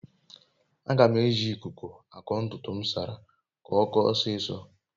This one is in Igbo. aga m a eji ikuku ako ntutu m nsara mmiri ka okoo osiso